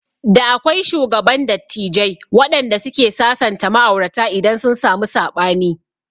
Da akwai shugaban dattijai wanɗanda suke sasanta ma'aurata idan sun samu saɓani